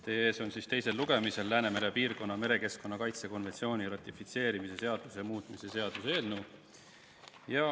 Teie ees on teisel lugemisel Läänemere piirkonna merekeskkonna kaitse konventsiooni ratifitseerimise seaduse muutmise seaduse eelnõu.